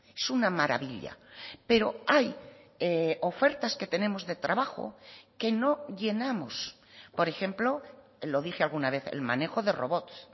es una maravilla pero hay ofertas que tenemos de trabajo que no llenamos por ejemplo lo dije alguna vez el manejo de robots